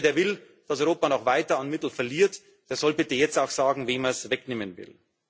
Jeder, der will, dass Europa noch weiter Mittel verliert, soll bitte jetzt auch sagen, wem er sie wegnehmen will.